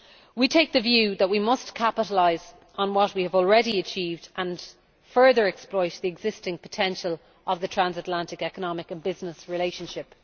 We take the view that we must capitalise on what we have already achieved and further exploit the existing potential of the transatlantic economic and business relationship.